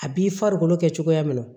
A b'i farikolo kɛ cogoya min na